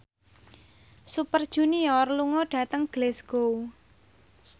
Super Junior lunga dhateng Glasgow